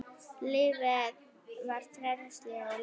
Lífið var frelsi og leikur.